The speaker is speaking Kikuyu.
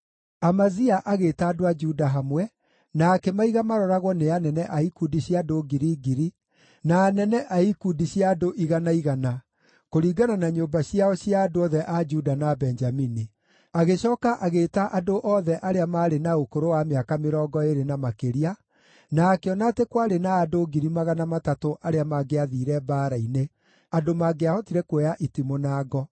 Amazia agĩĩta andũ a Juda hamwe, na akĩmaiga maroragwo nĩ anene a ikundi cia andũ ngiri ngiri na anene a ikundi cia andũ igana, igana kũringana na nyũmba ciao cia andũ othe a Juda na Benjamini. Agĩcooka agĩĩta andũ othe arĩa maarĩ na ũkũrũ wa mĩaka mĩrongo ĩĩrĩ na makĩria na akĩona atĩ kwarĩ na andũ 300,000 arĩa mangĩathiire mbaara-inĩ, andũ mangĩahotire kuoya itimũ na ngo.